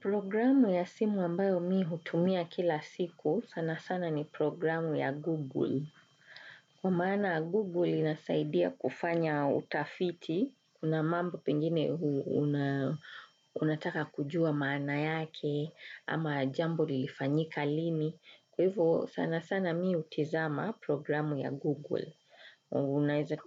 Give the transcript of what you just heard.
Programu ya simu ambayo mimi hutumia kila siku sana sana ni programu ya Google. Kwa maana Google inasaidia kufanya utafiti, kuna mambo penjine unataka kujua maana yake ama jambo lilifanyika lini. Kwa hivyo sana sana mimi hutizama programu ya Google.